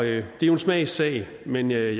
det er jo en smagssag men jeg